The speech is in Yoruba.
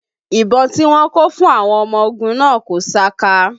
Ìbọn tí wọ́n kó fún àwọn ọmọ ogun náà kò saka